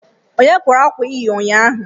Onye kwara akwa ị yi ụnyaahụ?